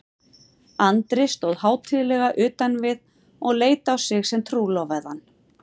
Andri stóð hátíðlega utan við og leit á sig sem trúlofaðan.